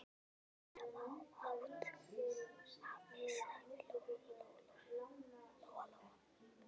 Ekki hafa hátt, afi, sagði Lóa Lóa.